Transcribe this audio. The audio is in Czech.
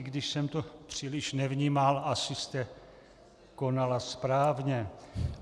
I když jsem to příliš nevnímal, asi jste konala správně.